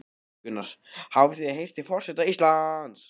Gunnar: Hafið þið heyrt í forseta Íslands?